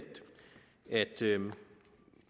at